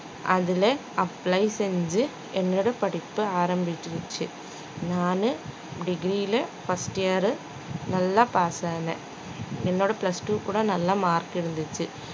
அதுலே apply செஞ்சு என்னோட படிப்பு ஆரம்பிச்சிருச்சு நானு degree ல first year உ நல்ல pass ஆனேன் என்னோட plus two கூட நல்ல mark இருந்துச்சு